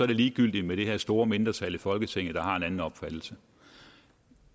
det ligegyldigt med det her store mindretal i folketinget der har en anden opfattelse